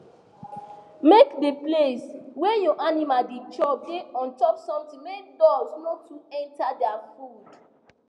make de place wey your animals da chop da untop something make dust no too enter their food